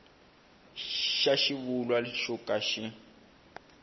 xa xivulwa xo ka xi